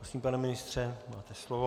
Prosím, pane ministře, máte slovo.